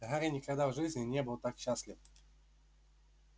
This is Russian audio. гарри никогда в жизни не был так счастлив